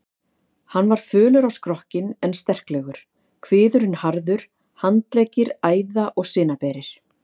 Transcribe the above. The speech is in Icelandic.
Hann var fölur á skrokkinn en sterklegur, kviðurinn harður, handleggir æða- og sinaberir.